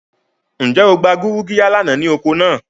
Nje o gba gurugiya lana ni oko naa?